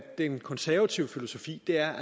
den konservative filosofi er